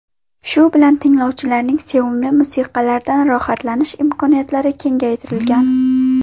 Shu bilan tinglovchilarning sevimli musiqalaridan rohatlanish imkoniyatlari kengaytirilgan.